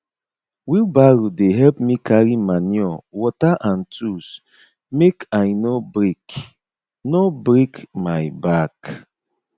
wheelbarrow dey help me carry manure water and tools mk i no break no break my back